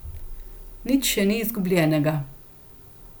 Nič še ni izgubljenega.